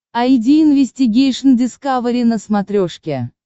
айди инвестигейшн дискавери на смотрешке